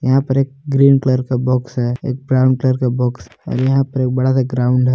यहां पर एक ग्रीन कलर का बॉक्स है एक ब्राउन कलर का बॉक्स और यहां पर एक बड़ा सा ग्राउंड है।